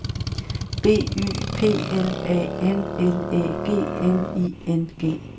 B Y P L A N L Æ G N I N G